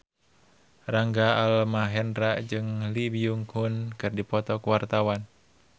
Rangga Almahendra jeung Lee Byung Hun keur dipoto ku wartawan